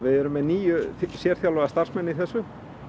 erum með níu sérþjálfaða starfsmenn í þessu